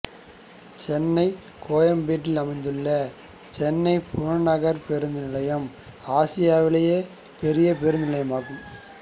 சென்னை கோயம்பேட்டில் அமைந்துள்ள சென்னை புறநகர் பேருந்து நிலையம் ஆசியாவிலேயே பெரிய பேருந்து நிலையமாகும்